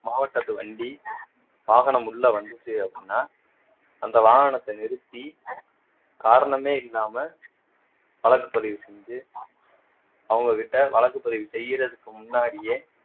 மாவட்டத்து வண்டி வாகனம் உள்ள வந்துச்சு அப்படின்னா அந்த வாகனத்தை நிறுத்தி காரணமே இல்லாம வழக்கு பதிவு செஞ்சு அவங்க கிட்ட வழக்கு பதிவு செய்யறதுக்கு முன்னாடியே